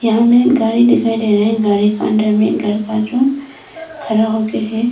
यहां में एक गाड़ी दिखाई दे रहा है गाड़ी का अंदर में लड़का जो खड़ा हो के है।